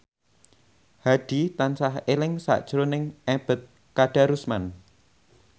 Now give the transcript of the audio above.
Hadi tansah eling sakjroning Ebet Kadarusman